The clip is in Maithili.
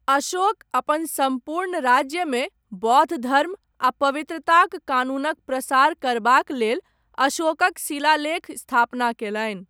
अशोक, अपन सम्पूर्ण राज्यमे, बौद्ध धर्म आ 'पवित्रताक कानून'क प्रसार करबाक लेल अशोकक शिलालेख स्थापना कयलनि।